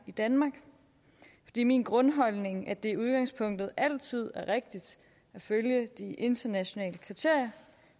i danmark det er min grundholdning at det i udgangspunktet altid er rigtigt at følge de internationale kriterier